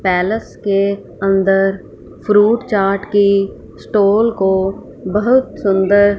palace के अंदर fruit chaat की स्टॉल को बहुत सुंदर--